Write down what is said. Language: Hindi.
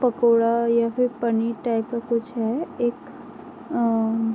पकौड़ा या फिर पनीर टाइप का कुछ है। एक अ --